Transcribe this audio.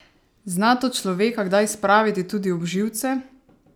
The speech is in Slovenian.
Zna to človeka kdaj spraviti tudi ob živce?